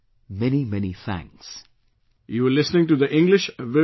Many, many thanks